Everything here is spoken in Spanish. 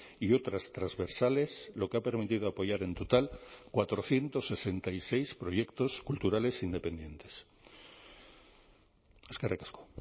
y otras transversales lo que ha permitido apoyar en total cuatrocientos sesenta y seis proyectos culturales independientes eskerrik asko